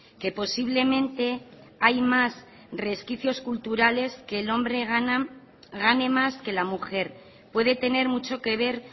que posiblemente hay más resquicios culturales que el hombre gane más que la mujer puede tener mucho que ver